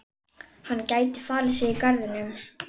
Hann gæti falið sig í garðinum.